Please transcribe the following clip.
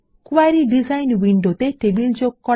query design উইন্ডোতে table যোগ করা